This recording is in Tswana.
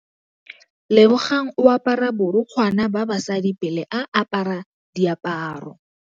Lebogang o apara borukgwana ba basadi pele a apara diaparô.